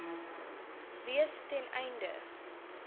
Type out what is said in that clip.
wees ten einde